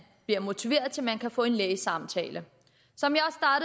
bliver motiveret og man får en lægesamtale